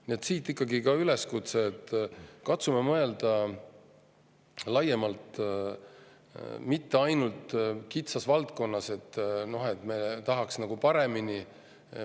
Nii et siit ikkagi üleskutse: katsume mõelda laiemalt, mitte ainult kitsas valdkonnas, et me tahaks nagu paremini.